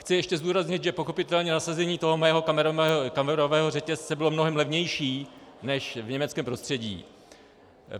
Chci ještě zdůraznit, že pochopitelně nasazení toho mého kamerového řetězce bylo mnohem levnější než v německém prostředí.